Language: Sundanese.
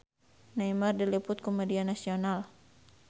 Neymar diliput ku media nasional